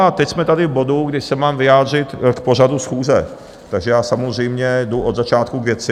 A teď jsme tady v bodu, kdy se mám vyjádřit k pořadu schůze, takže já samozřejmě jdu od začátku k věci.